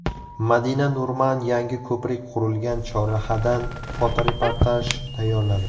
Madina Nurman yangi ko‘prik qurilgan chorrahadan fotoreportaj tayyorladi.